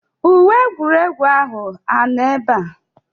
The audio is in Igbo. Uwe egwuregwu ahụ anọ ebe a?